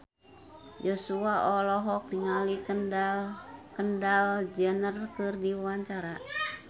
Joshua olohok ningali Kendall Jenner keur diwawancara